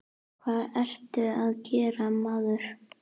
Hvað ertu að gera, maður?